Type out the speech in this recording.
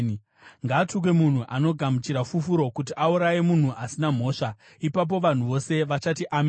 “Ngaatukwe munhu anogamuchira fufuro kuti auraye munhu asina mhosva.” Ipapo vanhu vose vachati, “Ameni!”